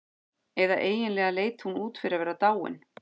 Eða eiginlega leit hún út fyrir að vera dáin.